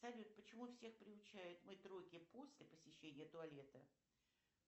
салют почему всех приучают мыть руки после посещения туалета